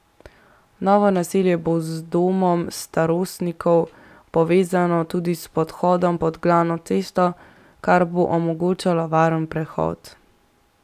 Novo naselje bo z domom starostnikov povezano tudi s podhodom pod glavno cesto, kar bo omogočalo varen prehod.